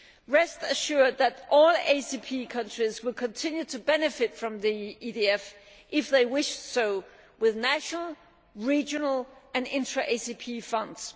Rest assured that all ACP countries will continue to benefit from the EDF, if they so wish, with national, regional and intra ACP funds.